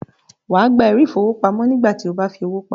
Wà á gba “ ẹ̀rí ìfowópamọ́” nígbà tí o bá fi owó pamọ́